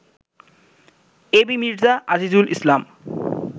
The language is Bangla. এবি মির্জ্জা আজিজুল ইসলাম